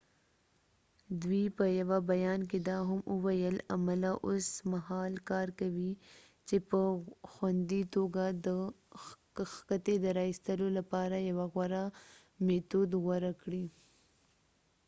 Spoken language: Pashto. دوی په یوه بیان کې دا هم وویل عمله اوس مهال کار کوي چې په خوندي توګه د کښتۍ د راایستلو لپاره یو غوره میتود غوره کړي